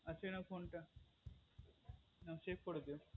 আচ্ছা এই নাও phone টা আর check করে দিয়ো